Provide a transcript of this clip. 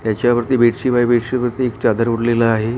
ह्याची वरती बेडशीव आहे बेडशीव वरती एक चादर ओडलेल आहे.